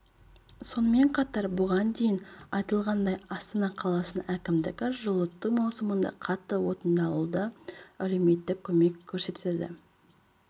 сонымен қатар бұған дейін айтылғандай астана қаласының әкімдігі жылыту маусымында қатты отынды алуда әлеуметтік көмек көрсетеді